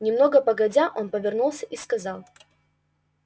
немного погодя он вернулся и сказал